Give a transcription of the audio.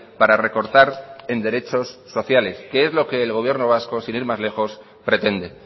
para recortar en derechos sociales que es lo que el gobierno vasco sin ir más lejos pretende